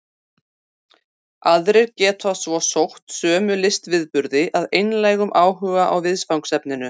Aðrir geta svo sótt sömu listviðburði af einlægum áhuga á viðfangsefninu.